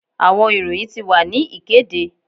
Awọn iroyin ti wa ni ikede